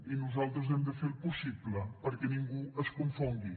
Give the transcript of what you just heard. i nosaltres hem de fer el possible perquè ningú es confongui